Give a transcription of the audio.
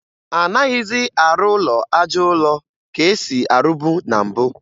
Anaghịzị arụ ụlọ aja ụlọ ka e si arụbu na mbụ